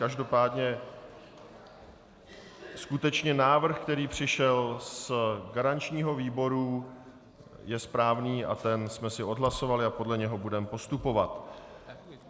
Každopádně skutečně návrh, který přišel z garančního výboru, je správný a ten jsme si odhlasovali a podle něj budeme postupovat.